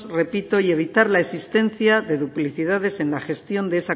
repito y evitar la existencia de duplicidades en la gestión de esa